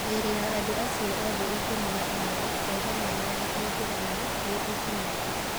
Mĩĩrĩ ya andũ acio othe ikũmi na ũmwe o hamwe na ya Aithĩramu nĩ ĩcinĩtwo.